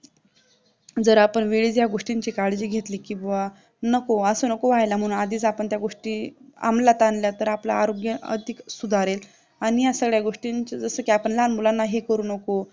जर आपण वेळेत या गोष्टींची काळजी घेतली कि नको असं नको व्हायला म्हणून आपण आधीच त्या गोष्टी आमलात आणल्या तर आपलं आरोग्य अधिक सुधारेल आणि आपण ह्या सगळ्या गोष्टीच जस कि आपण लहान मुलांना हे करू नको